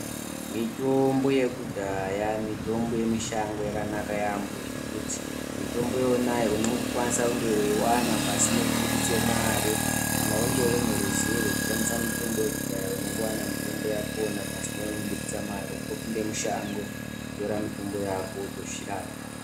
Mitombo yekudhaya mitombo yemushango yakanaka yambo ngekuti mitombo yonayo unongokwanise kunge weiwana pasina kubuditse mare, kana wanga une ruzivo rwekushandisa mitombo yekudhaya unongowana mitombo yakoyo pasina kubuditse mare kungopinde mushango wotore mitombo yako wotodzirapa.